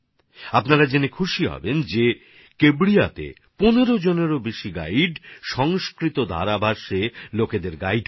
আপনারা জেনে খুশি হবেন যে কেভড়িয়াতে ১৫জনেরও বেশি গাইড সংস্কৃত ধারাভাষ্যে মানুষকে গাইড করে